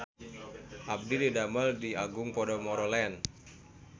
Abdi didamel di Agung Podomoro Land